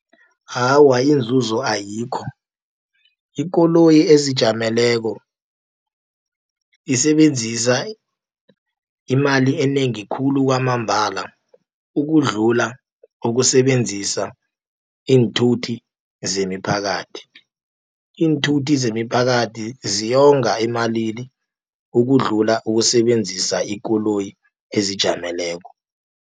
Awa, inzuzo ayikho, ikoloyi ezijameleko isebenzisa imali enengi khulu kwamambala, ukudlula ukusebenzisa iinthuthi zemiphakathi. Iinthuthi zemiphakathi ziyonga emalini, ukudlula ukusebenzisa ikoloyi ezijameleko.